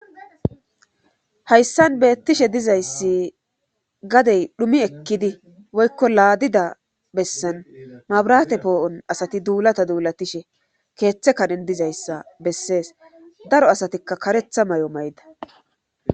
Hayssan beettishe dizayssi gadey dhumi ekkidi woykko laadida bessan mabirate poo'on asati duulata duulatishe keeththe kanen dizayssa bessees daro asatikka karetha ma'o mayda.